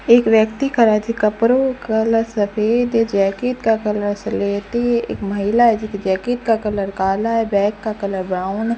एक व्यक्ति खड़ा है जी कपड़ों का कलर सफेद जैकेट का कलर स्लेटी एक महिला है जी के जैकेट का कलर काला है बैग का कलर ब्राउन --